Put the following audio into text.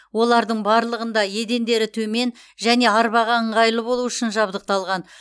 олардың барлығында едендері төмен және арбаға ыңғайлы болу үшін жабдықталған